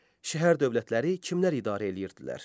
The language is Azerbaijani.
Şəhər-dövlətləri kimlər idarə eləyirdilər?